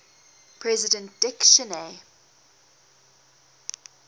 president dick cheney